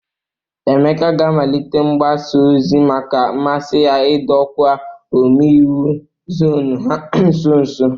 Emeka ga-amalite mgbaza ozi maka mmasị ya idọ ọkwa ome iwu zọnụ ha nso nso.